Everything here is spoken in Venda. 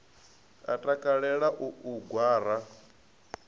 a takalela u u gwara